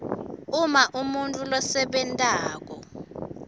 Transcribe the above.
uma umuntfu losebentako